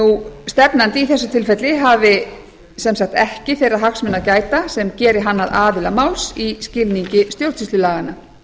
stefnandi í þessu tilfelli hafi sem sagt ekki þeirra hagsmuna að gæta sem geri hann að aðila máls í skilningi stjórnsýslulaganna